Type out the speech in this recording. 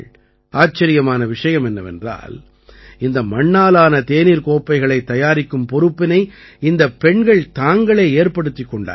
ஆச்சரியமான விஷயம் என்னவென்றால் இந்த மண்ணாலான தேநீர்க் கோப்பைகளைத் தயாரிக்கும் பொறுப்பினை இந்தப் பெண்கள் தாங்களே ஏற்படுத்திக் கொண்டார்கள்